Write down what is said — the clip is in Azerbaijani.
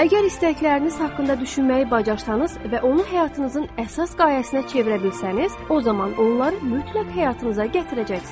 Əgər istəkləriniz haqqında düşünməyi bacarsanız və onu həyatınızın əsas qayəsinə çevirə bilsəniz, o zaman onları mütləq həyatınıza gətirəcəksiniz.